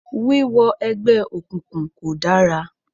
Wíwọ ẹgbẹ́ òkùnkùn kò dára